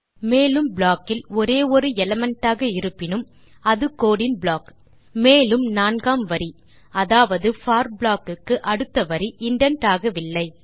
மேலும் ப்ளாக் இல் ஒரே ஒரு ஸ்டேட்மெண்ட் ஆக இருப்பினும் அது கோடு இன் ப்ளாக் மேலும் நான்காம் வரி அதாவது போர் ப்ளாக் க்கு அடுத்த வரி இண்டென்ட் ஆகவில்லை